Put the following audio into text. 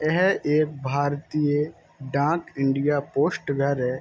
यह एक भारतीय डाक इंडिया पोस्ट घर है।